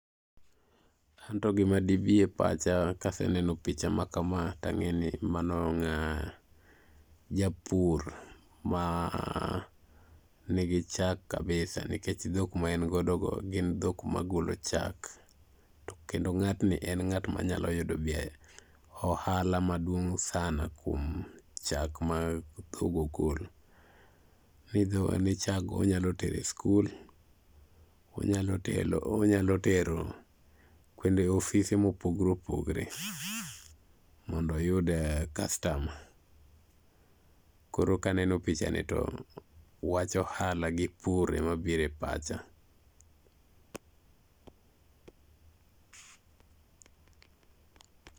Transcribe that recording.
An to gima dibi e pacha kaseneno picha ma kama, tang'e ni mano japur manigi chak kabisa nikech dhok ma en godo go gin dhok magolo chak. Kendo ng'atni en ng'at manyalo yudo ohala maduong' sana kuom chak mo dhogo golo. ni chaggo onyalo tero e skul, onyalo tero ofise mopogre opogre mondo oyude kastama. Koro kaneno pichani to wach ohala gi pur emabiro e pacha.